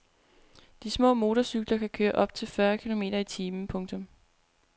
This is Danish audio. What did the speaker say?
De små motorcykler kan køre op til fyrre kilometer i timen. punktum